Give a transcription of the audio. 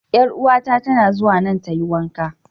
Yar'uwar ta tana zuwa nan ta yi wanka.